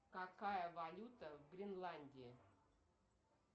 какая валюта в гренландии